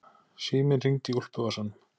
Síminn hringdi í úlpuvasanum.